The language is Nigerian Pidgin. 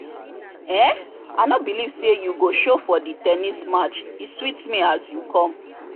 um i no believe say you go show for the ten nis match e sweet me as you come